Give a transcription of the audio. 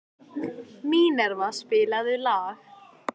Minerva, spilaðu lag.